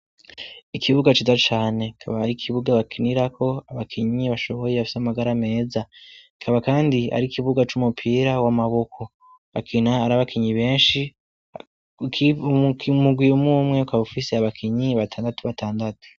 Ikibuga ciza cane kaba ari ikibuga bakinirako abakinyi bashoboye bafyo amagara meza kaba, kandi ari ikibuga c'umupira w'amaboko bakina arabakinyi benshi mugwimumwe koabaufise abakinyi batandatu batandatu.